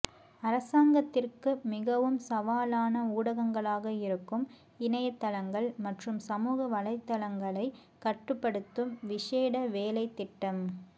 அரசாங்கத்திற்கு மிகவும் சவாலான ஊடகங்களாக இருக்கும் இணையத்தளங்கள் மற்றும் சமூக வலைத்தளங்களை கட்டுப்படுத்தும் விசேட வேலைத்திட்டம்